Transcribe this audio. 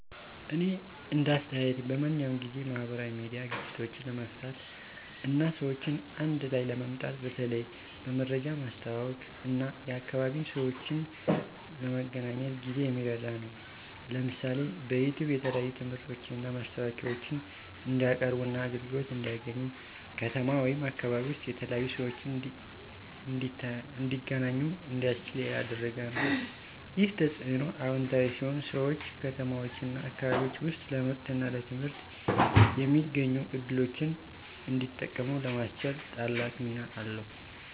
እኔ እንደ አስተያየቴ በማንኛውም ጊዜ፣ ማህበራዊ ሚዲያ ግጭቶችን ለመፍታት እና ሰዎችን አንድ ላይ ለማምጣት በተለይ በመረጃ ማስተዋወቅ እና የአካባቢ ሰዎችን ለመገናኘት ጊዜ የሚረዳ ነው። ለምሳሌ፣ በዩቲዩብ የተለያዩ ትምህርቶችን እና ማስታወቂያዎችን እንዲቀያርቡና አገልግሎት እንዲያገኙ፣ ከተማ ወይም አካባቢ ውስጥ የተለያዩ ሰዎች እንዲተገናኙ እንዲያስችል ያደረገ ነው። ይህ ተጽዕኖ አዎንታዊ ሲሆን ሰዎች ከተማዎችና አካባቢዎች ውስጥ ለምርትና ለትምህርት የሚገኙ ዕድሎችን እንዲጠቀሙ ለማስቻል ታላቅ ሚና አለው።